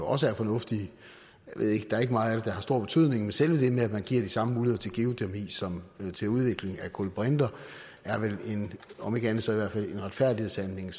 også er fornuftige der er ikke meget af det der har stor betydning men selve det at man giver de samme muligheder til geotermi som til udvikling af kulbrinter er vel om ikke andet så i hvert fald en retfærdighedshandling